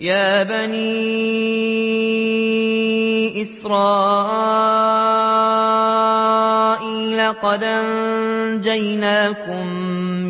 يَا بَنِي إِسْرَائِيلَ قَدْ أَنجَيْنَاكُم